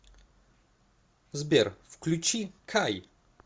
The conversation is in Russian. сбер включи кай